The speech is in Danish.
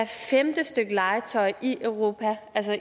femte stykke legetøj i europa altså